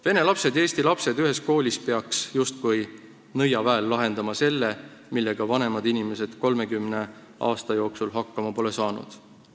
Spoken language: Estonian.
Vene lapsed ja eesti lapsed ühes koolis peaks justkui nõiaväel lahendama selle probleemi, millega vanemad inimesed 30 aasta jooksul hakkama pole saanud.